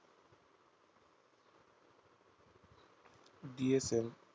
DFL